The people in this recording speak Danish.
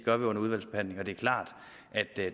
gør under udvalgsbehandlingen det er klart at